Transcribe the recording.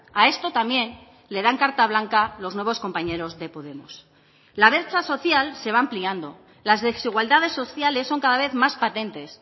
a esto también le dan carta blanca los nuevos compañeros de podemos la brecha social se va ampliando las desigualdades sociales son cada vez más patentes